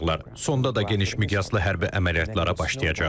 Sonda da geniş miqyaslı hərbi əməliyyatlara başlayacaqlar.